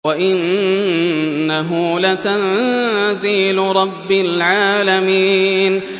وَإِنَّهُ لَتَنزِيلُ رَبِّ الْعَالَمِينَ